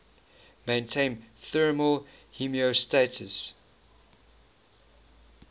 maintain thermal homeostasis